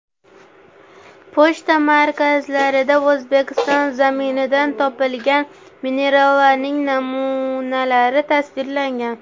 Pochta markalarida O‘zbekiston zaminidan topilgan minerallarning namunalari tasvirlangan.